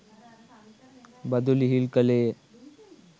බදු ලිහිල් කළේය.